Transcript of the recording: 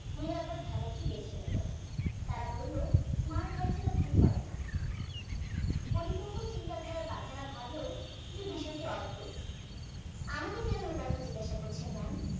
নিরাপদ ধাঁধাটি বেছে নলি তারা বললো smart বাচ্চারা ভুল করে না পরিপক্ক চিন্তাধারার বাচ্চারা ভাবলো যে বিষয়টি অদ্ভুত আমাকে কেন এই কথা জিজ্ঞেস করছেন maam